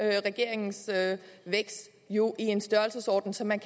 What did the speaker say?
regeringens vækst jo i en størrelsesorden så man